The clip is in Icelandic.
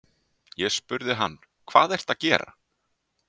Ég spurði hann: Hvað ertu að gera?